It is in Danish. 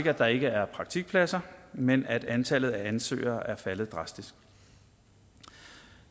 at der ikke er praktikpladser men at antallet af ansøgere er faldet drastisk